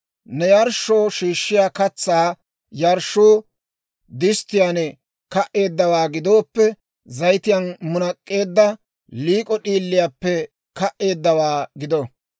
« ‹Ne yarshshoo shiishshiyaa katsaa yarshshuu disttiyaan ka"eeddawaa gidooppe, zayitiyaan munak'k'eedda liik'o d'iiliyaappe ka"eeddawaa gido.